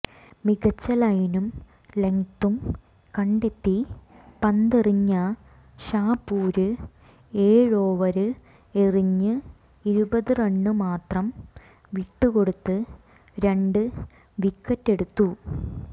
മികച്ച ലൈനും ലെങ്തും കണ്ടെത്തി പന്തെറിഞ്ഞ ഷാപുര് ഏഴോവര് എറിഞ്ഞ് ഇരുപത് റണ് മാത്രം വിട്ടുകൊടുത്ത് രണ്ട് വിക്കറ്റെടുത്തു